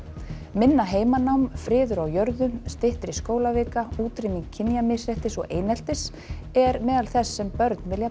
minna heimanám friður á jörðu styttri skólavika útrýming kynjamisréttis og eineltis er meðal þess sem börn vilja